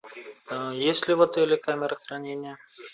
есть ли в отеле камера хранения